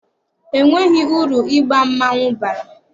E nweghị uru ịba mmanwụ bara.